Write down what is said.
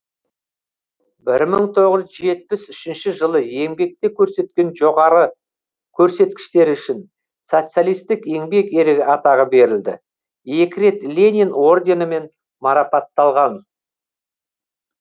бір мың тоғыз жүз жетпіс үшінші жылы еңбекте көрсеткен жоғары көрсеткіштері үшін социалистік еңбек ері атағы берілді екі рет ленин орденімен марапатталған